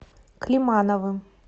климановым